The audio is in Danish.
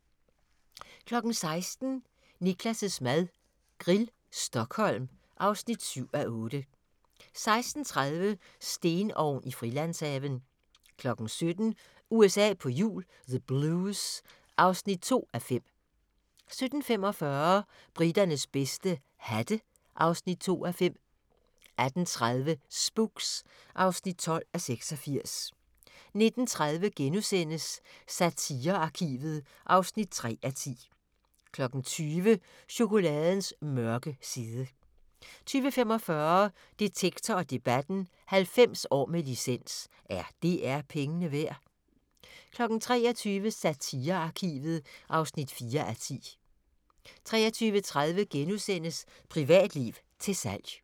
16:00: Niklas' mad - Grill, Stockholm (7:8) 16:30: Stenovn i Frilandshaven 17:00: USA på hjul - the Blues (2:5) 17:45: Briternes bedste - hatte (2:5) 18:30: Spooks (12:86) 19:30: Satirearkivet (3:10)* 20:00: Chokoladens mørke side 20:45: Detektor & Debatten: 90 år med licens – er DR pengene værd? 23:00: Satirearkivet (4:10) 23:30: Privatliv til salg *